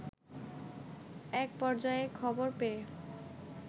এক পর্যায়ে খবর পেয়ে